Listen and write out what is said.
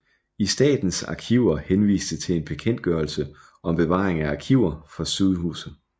Statens Arkiver henviste til en bekendtgørelse om bevaring af arkiver fra sygehuse